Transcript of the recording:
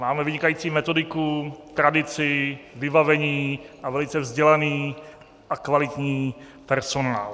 Máme vynikající metodiku, tradici, vybavení a velice vzdělaný a kvalitní personál.